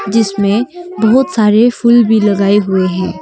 जिसमें बहोत सारे फूल भी लगाए हुए हैं।